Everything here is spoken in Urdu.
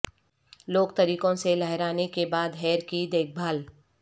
لوک طریقوں سے لہرانے کے بعد ہیئر کی دیکھ بھال